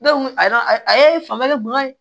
a ye fanga de bonyan ye